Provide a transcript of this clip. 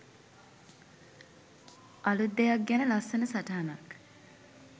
අලුත් දෙයක් ගැන ලස්සන සටහනක්